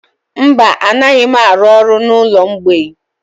Mba, anaghị m arụ ọrụ n'ụlọ mgbei.